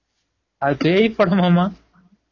அது பேய் படம் ஆமா